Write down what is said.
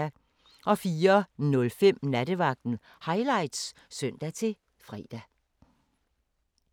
04:05: Nattevagten Highlights (søn-fre)